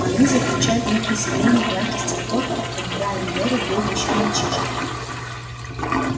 а они заключают внутрисемейные браки с тех пор как брайан бору был ещё мальчишкой